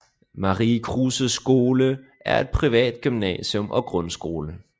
Marie Kruses Skole er et privat gymnasium og grundskole